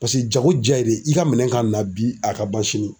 Paseke jago ja ye de i ka minɛn ka na bi a ka ban sini.